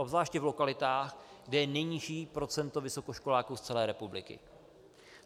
Obzvláště v lokalitách, kde je nejnižší procento vysokoškoláků z celé republiky.